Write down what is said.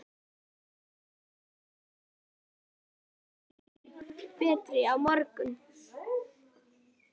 Kannski verðurðu orðinn betri á morgun.